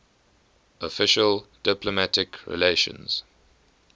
official diplomatic relations